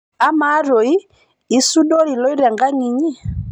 amaa stoi isudori ailoito enkang'inyi